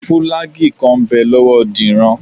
Fùlàgíì kan ń bẹ lọ́wọ́ Dìran